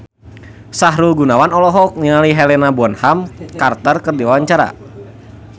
Sahrul Gunawan olohok ningali Helena Bonham Carter keur diwawancara